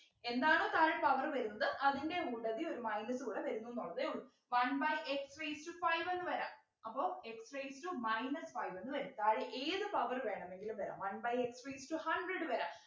എന്താണോ താഴെ power വരുന്നത് അതിൻ്റെ കൂട്ടത്തിൽ ഒരു minus കൂടെ വരുന്നുന്നുള്ളതെ ഉള്ളു one by x raised to five എന്ന് വരാം അപ്പൊ x raised to minus five എന്ന് വരും താഴെ ഏത് power വേണമെങ്കിലും വരാം one by x raised to hundred വരാം